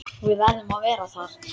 Við verðum að vera þar.